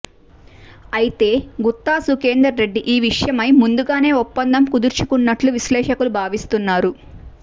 అయితే గుత్తా సుఖేందర్ రెడ్డి ఈ విషయమై ముందుగానే ఒప్పందం కుదుర్చుకున్నట్లు విశ్లేషకులు భావిస్తున్నారు